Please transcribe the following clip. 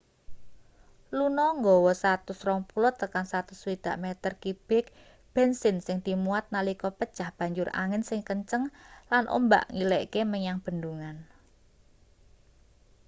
luno nggawa 120-160 meter kibik bensin sing dimuat nalika pecah banjur angin sing kenceng lan ombak ngilekke menyang bendungan